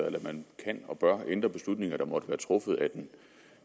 eller at man kan og bør ændre beslutninger der måtte være truffet af den